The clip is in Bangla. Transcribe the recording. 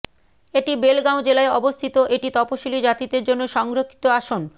এটি বেলগাঁও জেলায় অবস্থিত এটি তপসিলী জাতিদের জন্য সংরক্ষিত আসন